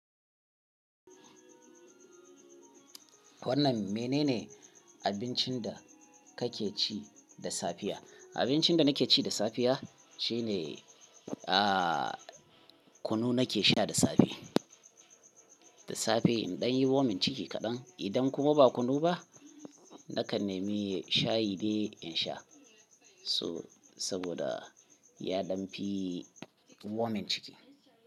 Wannan menene abincin da kake ci da safiya? Abincin da nake ci da safiya shine, ah, kunu nake sha da safe, da safe idan yayi womin ciki kaɗan. Idan kuma ba kunu ba, nakan nemi shayi dai in sha. So-- saboda ya ɗan fi womin ciki.